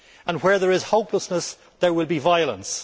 Where there is hopelessness, there will be violence.